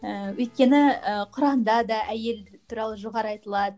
ііі өйткені і құранда да әйел туралы жоғары айтылады